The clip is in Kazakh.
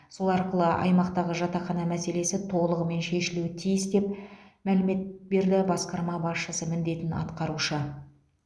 сол арқылы аймақтағы жатақхана мәселесі толығымен шешілуі тиіс деп мәлімет берді басқарма басшысы міндетін атқарушы